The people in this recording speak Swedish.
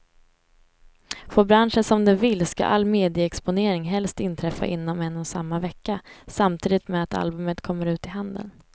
Får branschen som den vill ska all medieexponering helst inträffa inom en och samma vecka, samtidigt med att albumet kommer ut i handeln.